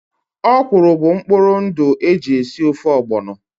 Ọ̀kwụ́rụ́ bụ mkpụrụ ndụ e ji esi ofe ogbono